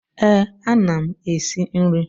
Eh, a na m esi nri.